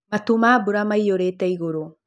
Matu ma mbura maiyũrĩte igũrũ .